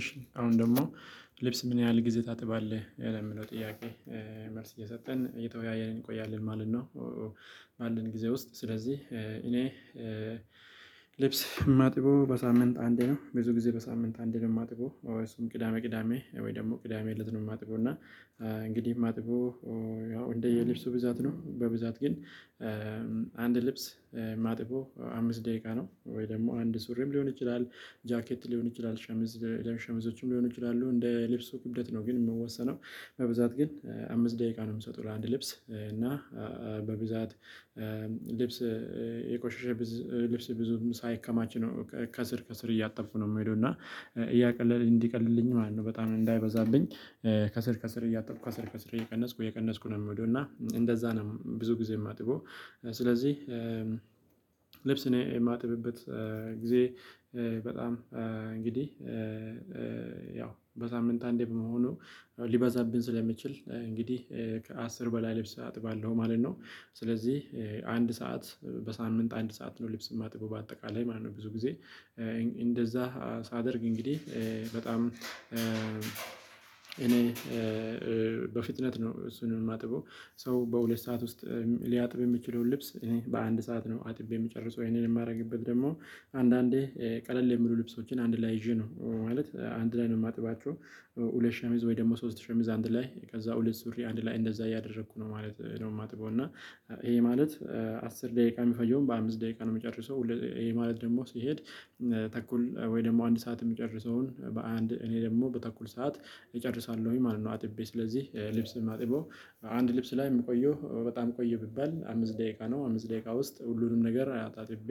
እሺ አሁን ደግሞ ልብስ ምን ያህል ጊዜ ታጥባለህ ለሚለው ጥያቄ መልስ እየሰጠን እየተወያየን እንቆያለን ማለት ነው። ባለን ጊዜ ውስጥ ስለዚህ እኔ ልብስ የማጥበው በሳምንት አንዴ ነው። ብዙ ጊዜ በሳምንት አንዴ ነው የማጥበው እሱም ቅዳሜ ቅዳሜ ወይ ደግሞ ቅዳሜ እለት ነው የማጥበው። እና እንግዲህ ማጥበው ያው እንደ የልብሱ ብዛት ነው በብዛት ግን አንድ ልብስ ማጥበው አምስት ደቂቃ ነው። ወይ ደግሞ አንድ ሱሪም ሊሆን ይችላል ጃኬት ሊሆን ይችላል ሸምዝ ሸሚዞችም ሊሆን ይችላሉ እንደ ልብስ ክብደት ነው ግን የሚወሰነው። በብዛት ግን አምስት ደቂቃ ነው የምሰጠው ለአንድ ልብስ። እና በብዛት ልብስ የቆሸሸ ልብስ ብዙም ሳይከማች ነው ከስር ከስር እያጠብኩ ነው የምሄደው እና እያቀለል እንዲቀልልኝ ማለት ነው በጣም እንዳይበዛብኝ። ከስር ከስር እያጠብኩ ከስር ከስር እየቀነስኩ እየቀነስኩ ነው የምሄደው እና እንደዛ ነው ብዙ ጊዜ የማጥበው። ስለዚህ ልብስ እኔ የማጥብበት ጊዜ በጣም እንግዲህ ያው በሳምንት አንዴ በመሆኑ ሊበዛብን ስለሚችል እንግዲህ ከአስር በላይ ልብስ አጥባለሁ ማለት ነው። ስለዚህ አንድ ሰዓት በሳምንት አንድ ሰዓት ነው ልብስ ማጥበው በአጠቃላይ ማለት ነው። ብዙ ጊዜ እንደዛ ሳደርግ እንግዲህ በጣም እኔ በፍጥነት ነው እሱን የማጥበው ሰው በሁለት ሰዓት ውስጥ ሊያጥብ የሚችለውን ልብስ እኔ በአንድ ሰዓት ነው አጥቤ የምጨርሰው። ይሄንን የማደርግበት ደግሞ አንዳንዴ ቀለል የሚሉ ልብሶችን አንድ ላይ ይዤ ነው ማለት አንድ ላይ ነው የማጥባቸው። ሁለት ሸሚዝ ወይ ደግሞ ሶስት ሸሚዝ አንድ ላይ ከዛ ሁለት ሱሪ አንድ ላይ እንደዛ እያደረኩ ነው ማለት ነው። ማጥበው እና ይሄ ማለት አስር ደቂቃ የሚፈጀውን በአምስት ደቂቃ ነው የምጨርሰው። ይሄ ማለት ደግሞ ሲሄድ ተኩል ወይ ደግሞ አንድ ሰዓት የሚጨርሰውን በአንድ እኔ ደግሞ በተኩል ሰዓት እጨርሳለሁኝ ማለት ነው። አጥቤ ስለዚህ ልብስ የማጥበው አንድ ልብስ ላይ የምቆየው በጣም ቆየ ቢባል አምስት ደቂቃ ነው አምስት ደቂቃ ውስጥ ሁሉንም ነገር አጣጥቤ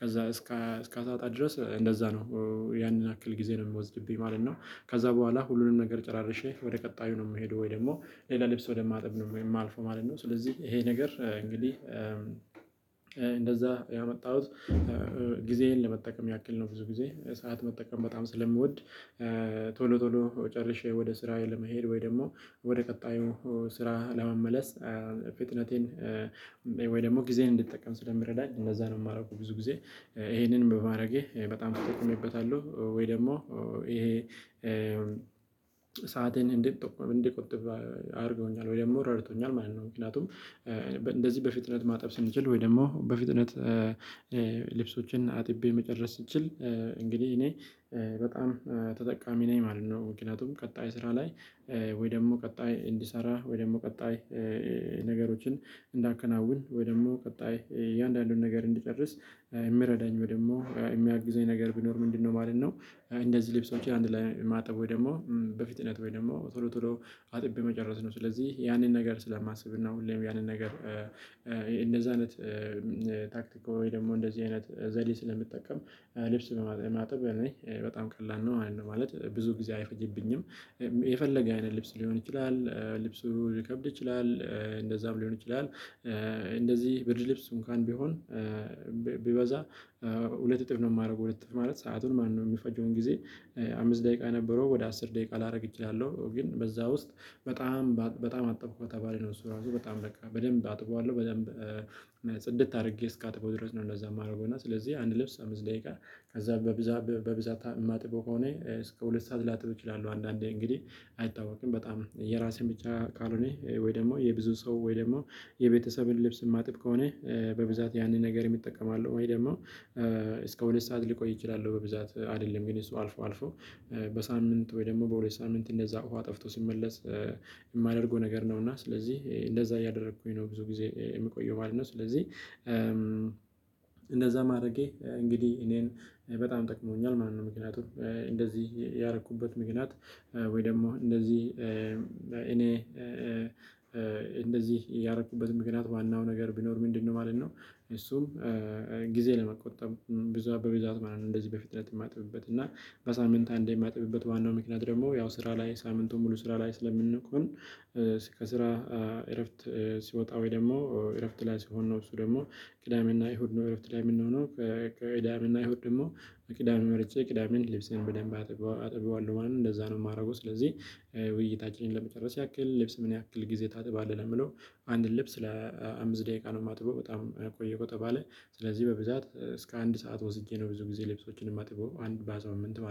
ከዛ እስከ እስከ አሳጣ ድረስ እንደዛ ነው ያንን ያክል ጊዜ ነው የሚወስድብኝ ማለት ነው። ከዛ በኋላ ሁሉንም ነገር ጨራርሼ ወደ ቀጣዩ ነው የምሄደው ወይ ደግሞ ሌላ ልብስ ወደማጥብ ነው የማልፈው ማለት ነው። ስለዚህ ይሄ ነገር እንግዲህ እንደዛ ያመጣሁት ጊዜዬን ለመጠቀም ያክል ነው ብዙ ጊዜ ሰዓት መጠቀም በጣም ስለምወድ። ቶሎ ቶሎ ጨርሼ ወደ ስራዬ መሄድ ወይ ደግሞ ወደ ቀጣዩ ስራ ለመመለስ ፍጥነቴን ወይ ደግሞ ጊዜን እንድትጠቀም ስለሚረዳኝ እነዛን የማደርገው ብዙ ጊዜ ይሄንን በማድረጌ በጣም ተጠቅሜበታለሁ። ወይ ደግሞ ይሄ እንድቆጥብ አድርገውኛል ወይ ደግሞ ረድቶኛል ማለት ነው። ምክንያቱም እንደዚህ በፍጥነት ማጠብ ስንችል ወይ ደግሞ በፍጥነት ልብሶችን አጥቤ መጨረስ ስትችል እንግዲህ እኔ በጣም ተጠቃሚ ነኝ ማለት ነው። ምክንያቱም ቀጣይ ስራ ላይ ወይ ደግሞ ቀጣይ እንድሰራ ወይ ደግሞ ቀጣይ ነገሮችን እንዳከናውን ወይ ደግሞ ቀጣይ እያንዳንዱን ነገር እንድጨርስ የሚረዳኝ ወይ ደግሞ የሚያግዘኝ ነገር ቢኖር ምንድነው ማለት ነው? እንደዚህ ልብሶችን አንድ ላይ ማጠብ ወይ ደግሞ በፍጥነት ወይ ደግሞ ቶሎ ቶሎ አጥቤ መጨረስ ነው። ስለዚህ ያንን ነገር ስለማስብ እና ሁሌም ያንን ነገር እንደዛ አይነት ታክቲካዊ ደግሞ እንደዚህ አይነት ዘዴ ስለምጠቀም ልብስ በማጠብ እኔ በጣም ቀላል ነው ማለት ብዙ ጊዜ አይፈጀብኝም። የፈለገ አይነት ልብስ ሊሆን ይችላል ልብሱ ሊከብድ ይችላል እንደዛም ሊሆን ይችላል እንደዚህ ብርድ ልብስ እንካን ቢሆን ቢበዛ ሁለት እጥፍ ነው የማደርገው ሁለት እጥፍ ማለት ሰአቱን ማለት ነወ የሚፈጀውን ጊዜ። አምስት ደቂቃ ነበረው ወደ አስር ደቂቃ ላደርግ እችላለሁ ግን በዛ ውስጥ በጣም በጣም አጠብኩ ከተባለ ነው እሱ ራሱ በጣም በቃ በደንብ አጥቧለሁ በደንብ ጽድት አድርጌ እስካጥበው ድረስ ነው። እንደዛ የማደርገው እና ስለዚህ አንድ ልብስ አምስት ደቂቃ ከዛ በብዛት በብዛት የማጥበው ከሆነ እስከ ሁለት ሰዓት ላጥብ እችላለሁ። አንዳንዴ እንግዲህ አይታወቅም በጣም የራሴን ብቻ ካልሆነ ወይ ደግሞ የብዙ ሰው ወይ ደግሞ የቤተሰብን ልብስ ማጥብ ከሆነ በብዛት ያንን ነገር እጠቀማለሁ ወይ ደግሞ እስከ ሁለት ሰዓት ሊቆይ ይችላል። በብዛት አይደለም ግን እሱ አልፎ አልፎ በሳምንት ወይ ደግሞ በሁለት ሳምንት እንደዛ ውሃ ጠፍቶ ሲመለስ የማደርገው ነገር ነው። እና ስለዚህ እንደዛ እያደረኩኝ ነው ብዙ ጊዜ የሚቆየው ማለት ነው። ስለዚህ እንደዛ ማድረጌ እንግዲህ እኔን በጣም ጠቅሞኛል ማንንም ምክንያቱም እንደዚህ ያረኩበት ምክንያት ወይ ደግሞ እንደዚህ እኔ እንደዚህ ያረኩበት ምክንያት ዋናው ነገር ቢኖር ምንድነው ማለት ነው? እሱም ጊዜ ለመቆጠብ ብዙ በብዛት ማለት ነው። እንደዚህ በፊትነት የማጥብበት እና በሳምንት አንድ የማጥብበት ዋናው ምክንያት ደግሞ ያው ስራ ላይ ሳምንቱን ሙሉ ስራ ላይ ስለምንቆይ። ከስራ እረፍት ሲወጣ ወይ ደግሞ እረፍት ላይ ሲሆን ነው እሱ ደግሞ ቅዳሜና እሁድ እረፍት ላይ የምንሆነው። ከቅዳሜና እሁድ ደግሞ ቅዳሜ መርጬ ቅዳሜን ልብሴን በደንብ አጥበዋለሁ ማለት ነው እንደዛ ነው የማደርገው። ስለዚህ ውይይታችን ለመጨረስ ያክል ልብስ ምን ያክል ጊዜ ታጥባለህ? የሚለው አንድ ልብስ ለአምስት ደቂቃ ነው የማጥበው በጣም ቆየሁ ከተባለ ስለዚህ በብዛት እስከ አንድ ሰዓት ወስጄ ነው ብዙ ጊዜ ልብሶችን የማጥበው አንድ በዛው ሳምንት ማለት ነው